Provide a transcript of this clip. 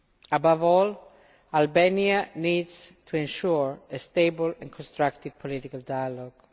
Above all, Albania needs to ensure a stable and constructive political dialogue.